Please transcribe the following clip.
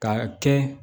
K'a kɛ